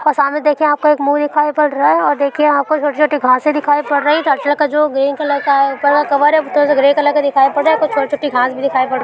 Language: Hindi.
सामने देखे आपको एक मुँह दिखाई पड़ रहा है और देखिये यहाँ पर छोटी-छोटी घासें दिखाई पड़ रही है। ग्रीन कलर की है और ऊपर का कवर ग्रे कलर का दिखाई का पड़ रहा है कुछ छोटी-छोटी घांस भी दिखाई पड़ --